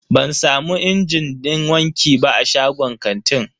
Ban samu injin din wanki ba a shagon kantin.